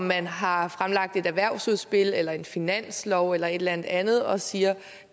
man har fremlagt et erhvervsudspil eller en finanslov eller et eller andet andet og siger